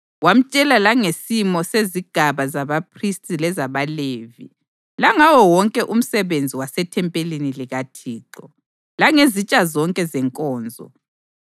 Wamtshela langesimo sezigaba zabaphristi lezabaLevi, langawo wonke umsebenzi wasethempelini likaThixo, langezitsha zonke zenkonzo,